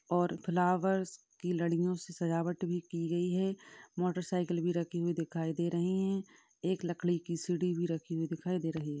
और फ्लावर्स की लड़ियों से सजावट भी की गई है। मोटर साइकिल भी रखी हुई दिखाई दे रही है। एक लकड़ी की सीढ़ी भी रखी हुई दिखाई दे रही है।